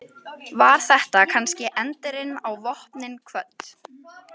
Var þetta kannski endirinn á Vopnin kvödd?